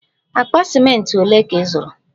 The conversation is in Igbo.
Akpa ciment ole ka ị zụrụ?